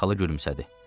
Xloya xala gülümsədi.